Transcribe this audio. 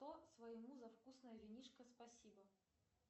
своему за вкусное винишко спасибо